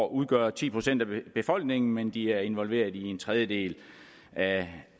udgør ti procent af befolkningen men de er involveret i en tredjedel af